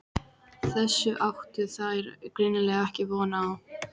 Þessu áttu þær greinilega ekki von á.